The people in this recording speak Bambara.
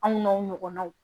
Anw n'aw ɲɔgɔnnaw